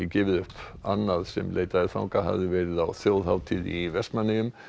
gefið upp annað sem leitaði þangað hafði verið á þjóðhátíð í Vestmannaeyjum